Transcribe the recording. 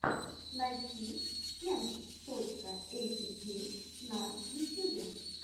найти кент точка эйпикей на ютьюбе